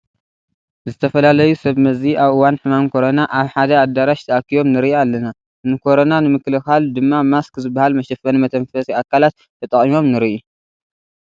ዝተፈላለዩ ሰብ መዚ ኣብ እዋን ሕማም ኮረና ሓደ ኣዳራሽ ተኣኪቦም ንርኢ ኣለና፡፡ ንኮረና ንምክልኻል ድማ ማስክ ዝበሃል መሸፈኒ መተንፈሲ ኣካላት ተጠቒሞም ንርኢ፡፡